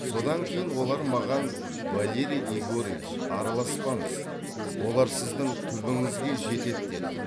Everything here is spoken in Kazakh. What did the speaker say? содан кейін олар маған валерий егорович араласпаңыз олар сіздің түбіңізге жетеді деді